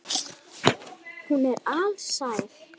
Hún er alsæl.